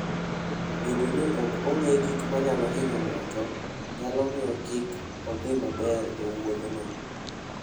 Bedo ni ok ong'e gik manyalo hinyo ng'ato, nyalo miyo kik odhi maber e wuodhno.